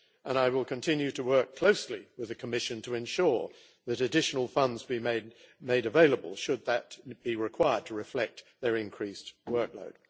I will continue to work closely with the Commission to ensure that additional funds be made available, should that be required to reflect their increased workload.